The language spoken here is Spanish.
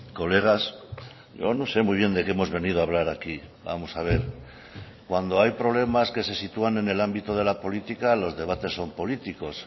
colegas yo no sé muy bien de que hemos venido a hablar aquí vamos a ver cuando hay problemas que se sitúan en el ámbito de la política los debates son políticos